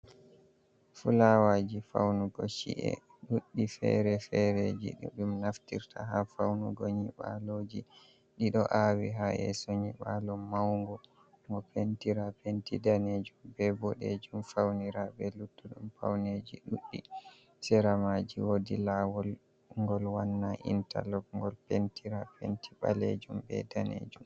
Fulawaaji faunugo ci’e ɗuɗɗi fere-fereji. Ɗi ɗum naftirta haa faunugo nyiɓaaloji. Ɗiɗo aawi haa yeso nyiɓaalo maungo, ngo pentira penti danejum, be boɗejum, faunira be luttuɗum pauneji ɗuɗɗi. Seramaaji wodi lawol ngol wannaa intalok, ngol pentira penti ɓalejum be danejum.